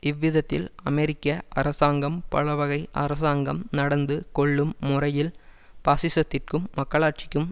இவ்விதத்தில் அமெரிக்க அரசாங்கம் பலவகை அரசாங்கம் நடந்து கொள்ளும் முறையில் பாசிசத்திற்கும் மக்களாட்சிக்கும்